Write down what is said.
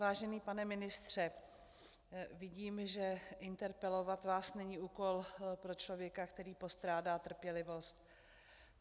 Vážený pane ministře, vidím, že interpelovat vás není úkol pro člověka, který postrádá trpělivost.